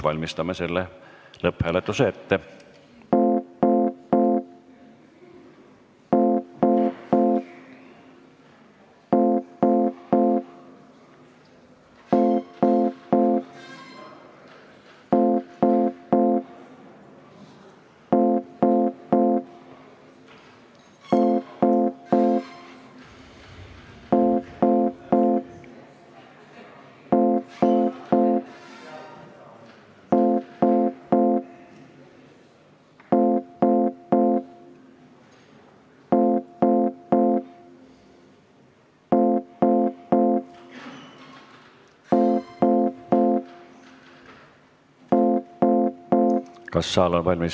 Valmistame selle ette.